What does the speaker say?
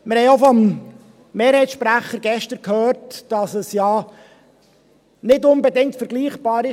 Wir haben gestern vom Mehrheitssprecher auch gehört, dass es ja nicht unbedingt mit anderen Kantonen vergleichbar ist.